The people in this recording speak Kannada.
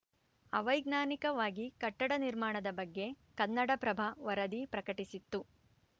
ಅವೈಜ್ಞಾನಿಕವಾಗಿ ಕಟ್ಟಡ ನಿರ್ಮಾಣದ ಬಗ್ಗೆ ಕನ್ನಡ ಪ್ರಭ ವರದಿ ಪ್ರಕಟಿಸಿತ್ತು